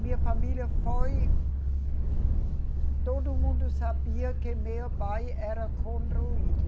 Minha família foi. Todo mundo sabia que meu pai era contra o Hitler.